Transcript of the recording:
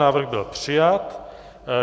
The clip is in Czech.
Návrh byl přijat.